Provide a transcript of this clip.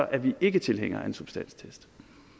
er vi ikke tilhængere af en substanstest